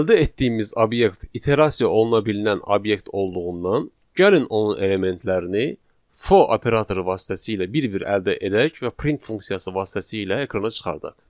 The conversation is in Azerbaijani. Əldə etdiyimiz obyekt iterasiya oluna bililən obyekt olduğundan, gəlin onun elementlərini for operatoru vasitəsilə bir-bir əldə edək və print funksiyası vasitəsilə ekrana çıxardaq.